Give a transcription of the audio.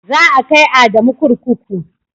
Za a kai Adamu kurkuku.